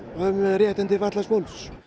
réttindi fatlaðs fólks